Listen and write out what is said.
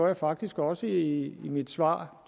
jeg faktisk også i mit svar